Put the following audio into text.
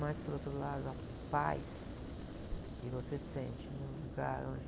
Mas, por outro lado, a paz que você sente num lugar onde...